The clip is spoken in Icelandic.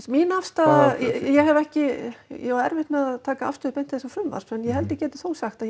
mín afstaða ég hef ekki ég á erfitt með að taka afstöðu til þessa frumvarps en ég held ég geti þó sagt að